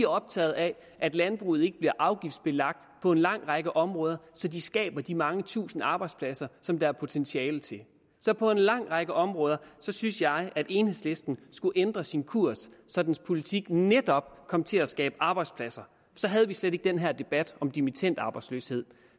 optaget af at landbruget ikke bliver afgiftsbelagt på en lang række områder så det skaber de mange tusind arbejdspladser som der er potentiale til så på en lang række områder synes jeg at enhedslisten skulle ændre sin kurs så dens politik netop kom til at skabe arbejdspladser så havde vi slet ikke den her debat om dimittendarbejdsløshed